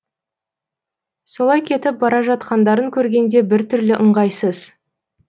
солай кетіп бара жатқандарын көргенде біртүрлі ыңғайсыз